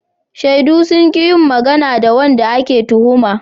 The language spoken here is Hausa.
Shaidu sun ki yin magana ga wanda ake tuhuma.